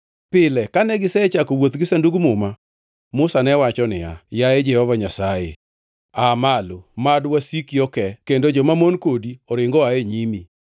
Pile kane gisechako wuoth gi Sandug Muma, Musa ne wacho niya, “Yaye Jehova Nyasaye, aa malo! Mad wasiki okee; kendo jomamon kodi oringi oa e nyimi!”